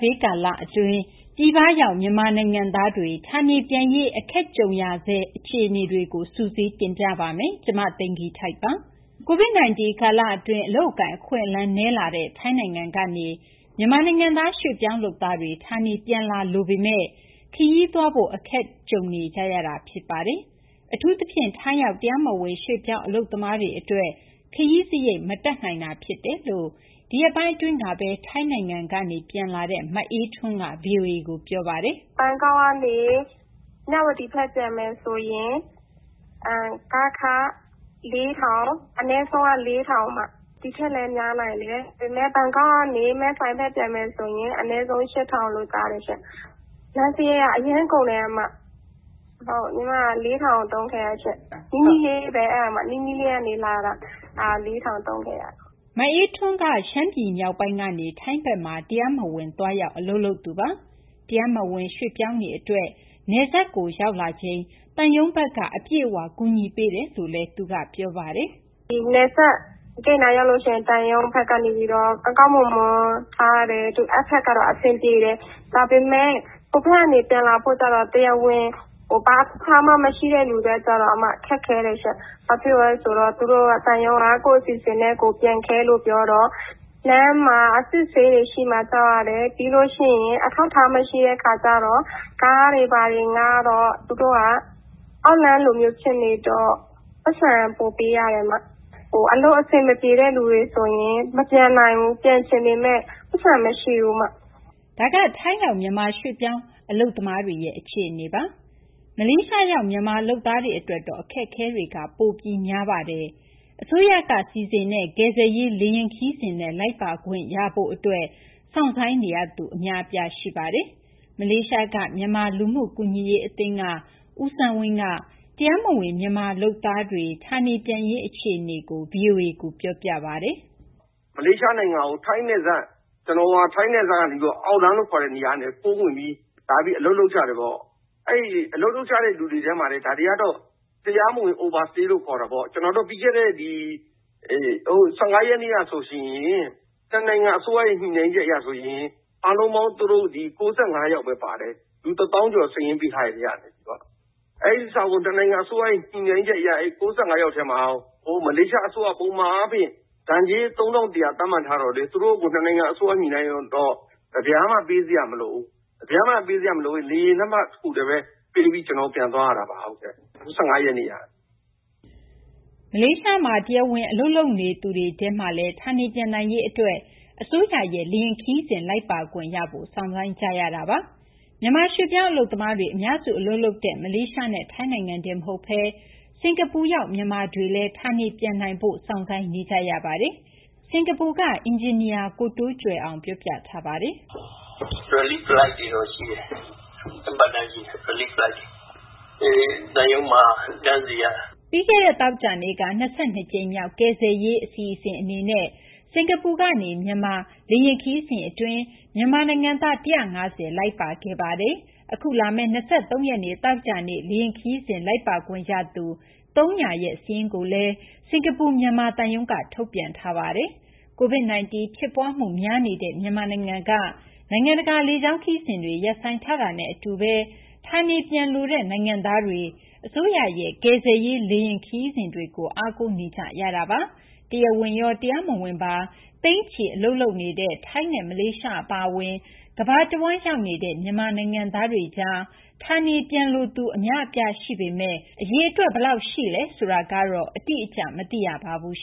ဘေး ကာလအတွင်း ပြည်ပရောက် မြန်မာနိုင်ငံသားတွေ ဌာနေပြန်ရေး အခက်တွေ့နေကြရဆဲ အခြေအနေတွေကို မသိင်္ဂီထိုက် စုစည်း တင်ပြပေးထားပါတယ်။ COVID-19 ကာလအတွင်း အလုပ်အကိုင် အခွင့်အလမ်း နည်းလာတဲ့ ထိုင်းနိုင်ငံကနေ မြန်မာနိုင်ငံသား ရွှေ့ပြောင်းလုပ်သားတွေ ဌာနေပြန်လာလိုပေမယ့်လည်း ခရီးသွားလာရေး အခက်တွေ့နေကြရဆဲ ဖြစ်ပါတယ်။ အထူးသဖြင့် ထိုင်းရောက် တရားမဝင် ရွှေ့ပြောင်းအလုပ်သမားတွေ အတွက် ခရီးစရိတ် မတတ်နိုင်တာ ဖြစ်တယ်လို့ ဒီရက်ပိုင်းအတွင်းပဲ ထိုင်းနိုင်ငံကနေ မြန်မာနိုင်ငံကို ပြန်လာတဲ့ မအေးထွန်းက ဗွီအိုအေကို ပြောပါတယ်။ “ဘန်ကောက်ကနေ မြဝတီကို ပြန်မယ်ဆိုရင် ကားခ အနည်းဆုံးက ၄,၀၀၀၊ ဘန်ကောက်ကနေ မယ်ဆိုင်ဘက် ပြန်မယ်ဆိုရင် အနည်းဆုံး ၈,၀၀၀ လို့ ကြားတယ်ရှင့်။ လမ်းစရိတ်က အရမ်းကုန်ပါတယ်။ ကျမ ၄,၀၀၀ သုံးခဲ့ရပါတယ်။ အဲဒါ နီးနီးလေးပဲ၊ နီးနီးလေးကနေ လာတာ။” မအေးထွန်းက ရှမ်းပြည် မြောက်ပိုင်းကနေ ထိုင်းဘက်မှာ တရားမဝင် သွားရောက် အလုပ်လုပ်နေသူပါ။ တရားမဝင် ရွှေ့ပြောင်းတွေအတွက် နယ်စပ်ကို ရောက်လာချိန်မှာ သံရုံးဘက်က အပြည့်အဝ ကူညီပေးတယ်လို့လည်း ပြောပါတယ်။ “နယ်စပ်ကို ရောက်လာချိန်မှာတော့ သံရုံးဘက်က ကောင်းကောင်းမွန်မွန် ထားတယ်။ အဲဒီဘက်ကတော့ အဆင်ပြေတယ်။ ဒါပေမယ့် ဟိုဘက်ကနေ ပြန်လာမယ့်သူကျတော့ ဘာအထောက်အထားမှ မရှိတဲ့သူက ခက်ခဲတယ်ရှင့်။ သံရုံးက ကိုယ့်အစီအစဉ်နဲ့ကိုယ် ပြန်ခဲ့လို့ ပြောတော့ လမ်းမှာ အစစ်အဆေးရှိမှာ ကြောက်ရတယ်။ ပြီးလို့ရှိရင် အထောက်အထားမရှိတဲ့ အခါကျတော့ ကားတွေဘာတွေ ငှားတော့ သူတို့က အောက်လမ်းလို ဖြစ်နေတော့ ပိုက်ဆံ ပိုပေးရပါတယ်။ အလုပ်အဆင်မပြေတဲ့ သူတွေဆိုရင် မပြန်နိုင်ဘူး။ ပြန်ချင်ပေမယ့် ပိုက်ဆံမရှိဘူး။” ဒါက ထိုင်းရောက် မြန်မာရွှေ့ပြောင်းအလုပ်သမားတွေရဲ့ အခြေအနေပါ။ မလေးရှားရောက် မြန်မာလုပ်သားတွေ အတွက်တော့ အခက်အခဲတွေက ပိုပြီး များပါတယ်။ အစိုးရစီစဉ်ပေးတဲ့ ကယ်ဆယ်ရေးလေယာဉ် ခရီးစဉ်နဲ့ လိုက်ပါခွင့်ရဖို့အတွက် စောင့်ဆိုင်းနေရသူ အများအပြား ရှိပါတယ်။ မလေးရှားက မြန်မာလူမှုကူညီရေးအသင်းက ဦးစန်းဝင်းက တရားမဝင် မြန်မာအလုပ်သမားတွေ ဌာနေပြန်ရေး အခြေအနေကို ဗွီအိုအေကို ပြောပြပါတယ်။ “အကြောင်းကြောင်းကြောင့် ထိုင်းနယ်စပ်ကနေ ခိုးဝင်ပြီး လာပြီး အလုပ်လုပ်ကြတယ်ပေါ့။ အဲဒီ အလုပ်လုပ်ကြတဲ့ လူတွေထဲမှာတင် ဒါတွေကတော့ တရားမဝင် Overstay လို့ ခေါ်တာပေါ့။ ပြီးခဲ့တဲ့ ၁၅ ရက်နေ့ကဆိုရင် နှစ်နိုင်ငံ အစိုးရ ညှိနှိုင်းချက်အရဆိုရင် အားလုံးပေါင်း သူတို့ ၉၅ ယောက်ပဲ ပါတယ်။ လူ ၁၀,၀၀၀ ကျော် စာရင်းပေးထားတဲ့ အထဲက။ နှစ်နိုင်ငံအစိုးရ ညှိနှိုင်းချက်အရ အဲဒီ ၉၅ ယောက်ထဲမှာ မလေးရှားအစိုးရက ပုံမှန်ဒဏ်ကြေး ၃,၁၀၀ သတ်မှတ်ထားပေမယ့် နှစ်နိုင်ငံအစိုးရ ညှိနှိုင်းထားတော့ တပြားမှ ပေးစရာမလိုဘူး။ လေယာဉ်လက်မှတ်ဖိုးပဲ ပေးပြီး ပြန်သွားရတာပါ။” မလေးရှားနိုင်ငံမှာ တရားဝင် အလုပ်လုပ်နေသူတွေထဲမှာလည်း ဌာနေပြန်နိုင်ရေးအတွက် အစိုးရရဲ့ လေယာဉ်ခရီးစဉ် လိုက်ပါခွင့်ရဖို့ စောင့်ဆိုင်းနေကြရဆဲ ဖြစ်ပါတယ်။ မြန်မာ ရွှေ့ပြောင်းအလုပ်သမားတွေ အများစု အလုပ်လုပ်နေကြတဲ့ မလေးရှားနဲ့ ထိုင်းနိုင်ငံတင် မဟုတ်ဘဲ စင်ကာပူရောက် မြန်မာတွေလည်း ဌာနေပြန်ရေး စောင့်ဆိုင်းနေကြရပါတယ်။ စင်ကာပူက အင်ဂျင်နီယာ ကိုတိုးကြွယ်အောင်က အခုလို ပြောပြထားပါတယ်။ “သံရုံးကစီစဉ်တဲ့ Relief Flight တွေတော့ ရှိတယ်။ သံရုံးမှာ တန်းစီရတာ။” ပြီးခဲ့တဲ့ သောကြာနေ့က ၂၂ ကြိမ်မြောက် Relief Flight အနေနဲ့ စင်ကာပူကနေ မြန်မာ လေယာဉ်ခရီးစဉ်အတွင်း မြန်မာနိုင်ငံသား ၁၅၀ လိုက်ပါသွားပါတယ်။ အခုလာမယ့် ၂၃ ရက်နေ့ သောကြာနေ့ လေယာဉ်ခရီးစဉ် လိုက်ပါခွင့်ရသူ ၃၀၀ ဦးရဲ့ စာရင်းကို စင်ကာပူ မြန်မာသံရုံးက ထုတ်ပြန်ထားပါတယ်။ COVID-19 ဖြစ်ပွားမှု များနေတဲ့ မြန်မာနိုင်ငံက နိုင်ငံတကာ လေကြောင်းခရီးစဉ်တွေ ရပ်ဆိုင်းထားတာနဲ့ အတူပဲ ဌာနေပြန်လိုတဲ့ နိုင်ငံသားတွေ အစိုးရရဲ့ ကယ်ဆယ်ရေးလေယာဉ် ခရီးစဉ်တွေကို အားကိုးနေကြရတာပါ။ တရားဝင်ရော တရားမဝင်ပါ သိန်းချီ အလုပ်လုပ်ကိုင်နေတဲ့ ထိုင်းနဲ့ မလေးရှား အပါအဝင် ကမ္ဘာတဝန်း ရောက်နေကြတဲ့ မြန်မာနိုင်ငံသားတွေကြား ဌာနေပြန်လိုသူ အများအပြား ရှိနေပေမယ့် အရေအတွက် ဘယ်လောက်ရှိလဲ ဆိုတာတော့ အတိအကျ မသိရပါဘူး